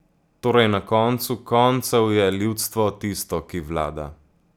Torej na koncu koncev je ljudstvo tisto ki vlada.